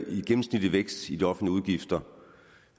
i gennemsnitlig vækst i de offentlige udgifter